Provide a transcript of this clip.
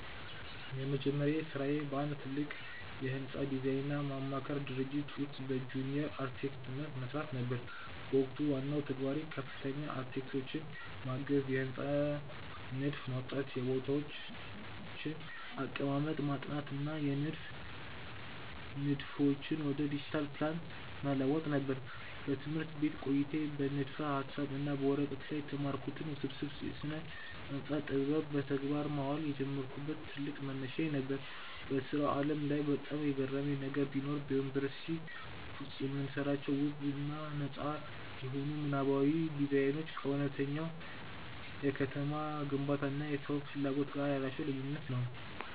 የመጀመሪያ ሥራዬ በአንድ ትልቅ የሕንፃ ዲዛይንና ማማከር ድርጅት ውስጥ በጁኒየር አርክቴክትነት መሥራት ነበር። በወቅቱ ዋናው ተግባሬ ከፍተኛ አርክቴክቶችን ማገዝ፣ የሕንፃዎችን ንድፍ ማውጣት፣ የቦታዎችን አቀማመጥ ማጥናት እና የንድፍ ንድፎችን ወደ ዲጂታል ፕላን መለወጥ ነበር። በትምህርት ቤት ቆይታዬ በንድፈ-ሐሳብ እና በወረቀት ላይ የተማርኩትን ውስብስብ የስነ-ህንፃ ጥበብ በተግባር ማዋል የጀመርኩበት ትልቅ መነሻዬ ነበር። በሥራው ዓለም ላይ በጣም የገረመኝ ነገር ቢኖር፣ በዩኒቨርሲቲ ውስጥ የምንሰራቸው ውብ እና ነጻ የሆኑ ምናባዊ ዲዛይኖች ከእውነተኛው የከተማ ግንባታ እና የሰዎች ፍላጎት ጋር ያላቸው ልዩነት ነው።